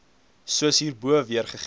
soos hierbo weergegee